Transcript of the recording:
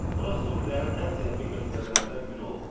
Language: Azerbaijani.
Bura sufilərin ən zəngin məktəblərindən biri olub.